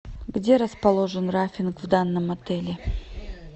где расположен рафтинг в данном отеле